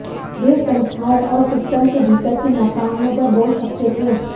वे संस्थाओं और सिस्टम के भीतर की नाकामियों पर बोल सकते थे